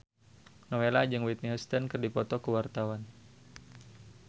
Nowela jeung Whitney Houston keur dipoto ku wartawan